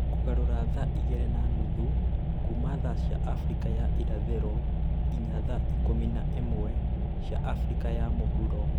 Kũgarũra thaa igĩrĩ na nuthu kuuma thaa cia Afrika ya irathĩro nginya thaa ikũmi na ĩmwe cia Afrika ya mũhuro